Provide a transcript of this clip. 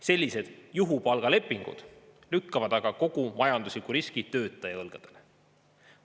Sellised juhupalgalepingud lükkavad aga kogu majandusliku riskitöötaja õlgadele.